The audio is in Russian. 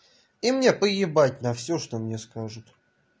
и мне поебать на всё что мне скажут